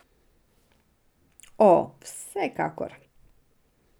O, vsekakor.